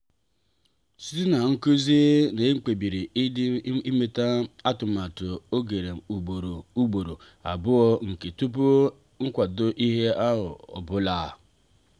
site na nkụzi ahụ e kpebiri ịdina eleta atụmatụ ogem ugboro ugboro abụọ nke tupu nkwado ihe ọ bụla.